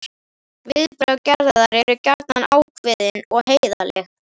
Viðbrögð Gerðar eru gjarnan ákveðin og heiðarleg.